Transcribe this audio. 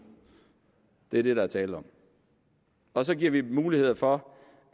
det er det der er tale om og så giver vi mulighed for